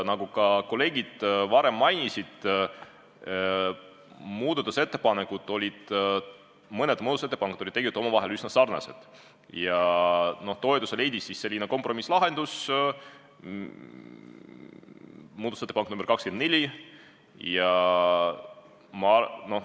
Nagu kolleegid varem mainisid, olid mõned muudatusettepanekud tegelikult omavahel üsna sarnased, ja toetuse leidis selline kompromisslahendus, muudatusettepanek nr 24.